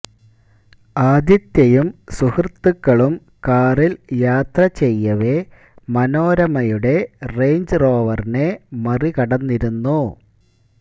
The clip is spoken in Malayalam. ആദിത്യയും സുഹൃത്തുക്കളും കാറിൽ യാത്ര ചെയ്യവെ മനോരമയുടെ റേഞ്ച് റോവറിനെ മറികടന്നിരുന്നു